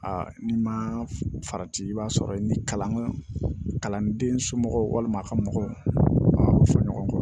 n'i ma farati i b'a sɔrɔ i ni kalanden somɔgɔw walima a ka mɔgɔw fɔ ɲɔgɔn kɔ